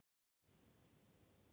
Njáll, hvað er í dagatalinu í dag?